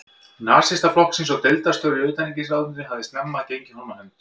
Nasistaflokksins og deildarstjóri í utanríkisráðuneytinu, hafði snemma gengið honum á hönd.